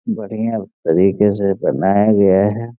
बढ़िया तरीके से करना है जो ये है।